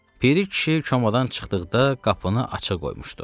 Biri kişi komadan çıxdıqda qapını açıq qoymuşdu.